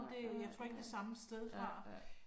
Nej, nej, nej, ja, ja